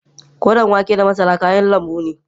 Koren wake da masara kayan lanbu ne.